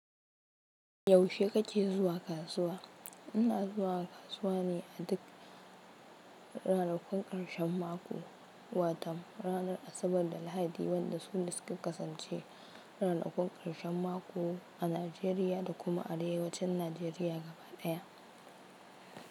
Yaushe kake zuwa kasuwa? Ina zuwa kasuwa ne a duk ranakun ƙarshen mako, wato ranar Asabar da Lahadi, wanda su ne suka kasance ranakun ƙarshen mako a Najeriya da kuma arewacin Najeriya gaba daya.